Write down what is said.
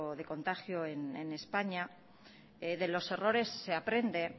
de contagio en españa de los errores se aprende